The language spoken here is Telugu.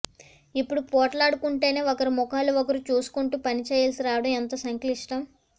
ఇప్పుడు పొట్లాడుకుంటూనే ఒకరి ముఖాలు ఒకరు చూసుకుంటూ పని చేయాల్సి రావడం ఎంత సంక్లిష్టం